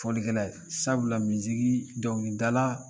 Folikɛla ye sabula dɔnkilidala